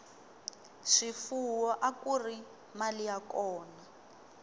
swifuwo akuri mali ya kona